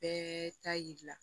Bɛɛ ta yir'i la